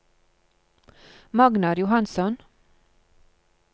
Magnar Johansson